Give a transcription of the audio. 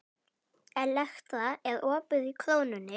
Elektra, er opið í Krónunni?